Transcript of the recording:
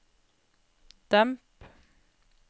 demp